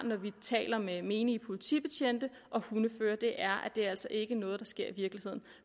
talt med menige politibetjente og hundeførere det er er altså ikke noget der sker i virkeligheden